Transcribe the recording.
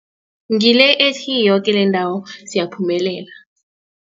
Ngile ethi, yoke lendawo siyaphumelela.